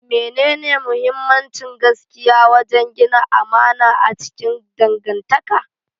mene muhimmancin gaskiya wajen gina amana a cikin dangantaka?